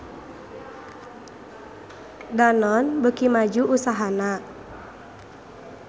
Danone beuki maju usahana